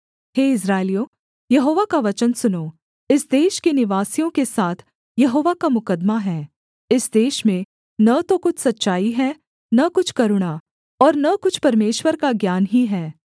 हे इस्राएलियों यहोवा का वचन सुनो इस देश के निवासियों के साथ यहोवा का मुकद्दमा है इस देश में न तो कुछ सच्चाई है न कुछ करुणा और न कुछ परमेश्वर का ज्ञान ही है